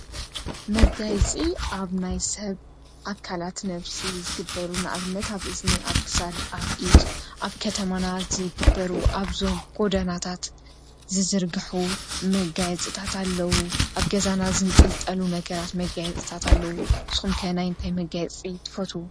መጋይፂ ኣብ ናይ ሰብ ኣካላት ነፍስ ዝግበሩ ንኣብነት ኣብ እዝኒ፣ ኣብ ክሳድ፣ ኣብ ኢድ ኣብ ከተማናት ዝግበሩ ኣብዞም ጎዳናታት ዝዘርግሑ መጋይፂታት ኣለዉ። ኣብ ገዛና ዝንጥልጠሉ ነገራት መጋየፅታት ኣለዉ ንስኹም ከ ናይ እንታይ መጋይፂ ትፈቱ?